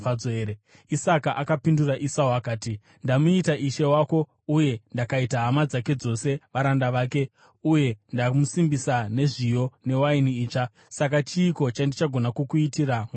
Isaka akapindura Esau akati, “Ndamuita ishe wako uye ndakaita hama dzake dzose varanda vake, uye ndamusimbisa nezviyo newaini itsva. Saka chiiko chandichagona kukuitira mwana wangu?”